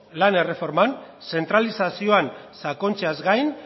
lan erreforman zentralizazioan sakontzeaz gain